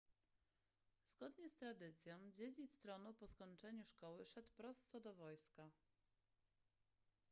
zgodnie z tradycją dziedzic tronu po skończeniu szkoły szedł prosto do wojska